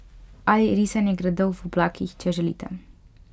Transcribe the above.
Ali risanju gradov v oblakih, če želite.